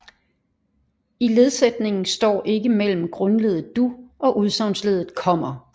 I ledsætningen står ikke mellem grundleddet du og udsagnsleddet kommer